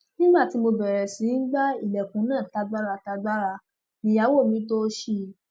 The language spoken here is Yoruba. nígbà tí mo bẹrẹ sí í gba ilẹkùn náà tágbáratàgbàrà nìyàwó mi tòò ṣí i